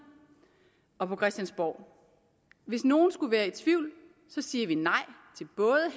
og på christiansborg hvis nogen skulle være i tvivl siger vi nej